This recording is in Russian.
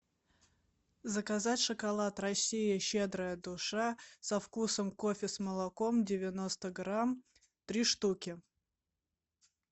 заказать шоколад россия щедрая душа со вкусом кофе с молоком девяносто грамм три штуки